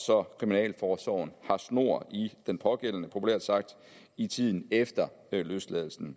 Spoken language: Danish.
så kriminalforsorgen har snor i den pågældende populært sagt i tiden efter løsladelsen